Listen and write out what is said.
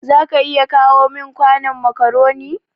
za ka iya kawo min kwanon macaroni.